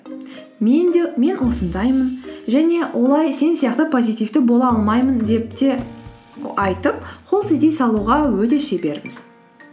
мен осындаймын және олай сен сияқты позитивті бола алмаймын деп те айтып қол сілтей салуға өте шеберміз